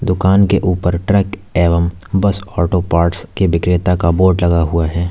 दुकान के ऊपर ट्रक एवं बस ऑटो पार्ट्स के विक्रेता का बोर्ड लगा हुआ है।